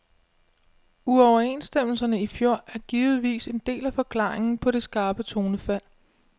Uoverenstemmelserne i fjor er givetvis en del af forklaringen på det skarpe tonefald.